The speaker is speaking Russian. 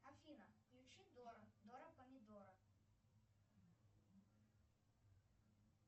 афина включи дора дора помидора